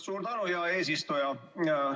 Suur tänu, hea eesistuja!